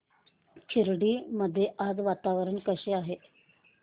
खर्डी मध्ये आज वातावरण कसे आहे